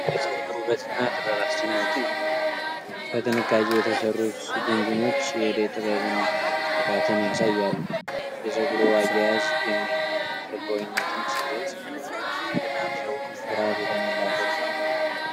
የጸጉር ውበትና ጥበብ አስደናቂ ነው! በጥንቃቄ የተሰሩት ጉንጉኖች የእደ ጥበብን ልቀትን ያሳያሉ። የጸጉሩ አያያዝ የማይናወጥ ልባዊነትን ሲገልጽ፣ ዘውዱ ኩራት የተሞላበት ነው።